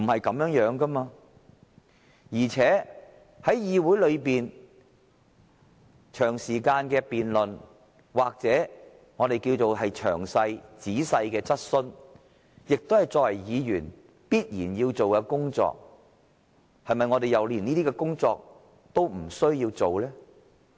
況且，在議會內長時間辯論或詳細的質詢，亦是我們作為議員必須履行的職責，我們是否連這些工作也不需要做？